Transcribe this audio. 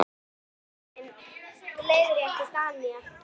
Tíu ár Jón minn, leiðrétti Daðína.